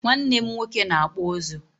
nwannem nwoke na-akpụ ụzụ.